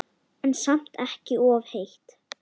En samt ekki of heitt.